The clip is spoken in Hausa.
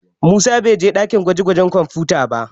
Musa bai je ɗakin gwaje-gwajen kwamfuta ba